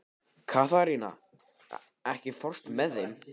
Katharina, ekki fórstu með þeim?